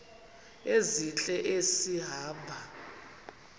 ezintle esi hamba